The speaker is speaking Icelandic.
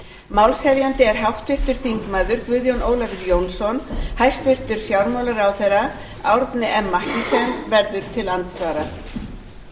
málshefjandi er háttvirtur þingmaður guðjón ólafur jónsson hæstvirtur fjármálaráðherra árni m mathiesen verður til andsvara